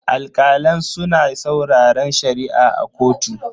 Alkalan suna sauraren Shari'a a kotu.